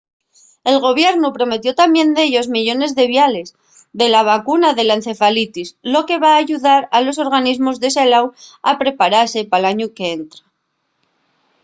el gobiernu prometió tamién dellos millones de viales de la vacuna de la encefalitis lo que va ayudar a los organismos de salú a preparase pal añu qu’entra